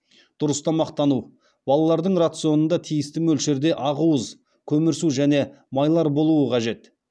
дұрыс тамақтану балалардың рационында тиісті мөлшерде ақуыз көмірсу және майлар болу қажет